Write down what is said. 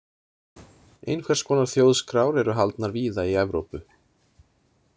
Einhvers konar þjóðskrár eru haldnar víða í Evrópu.